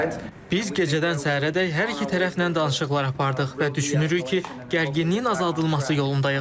Biz gecədən səhərədək hər iki tərəflə danışıqlar apardıq və düşünürük ki, gərginliyin azaldılması yolundayıq.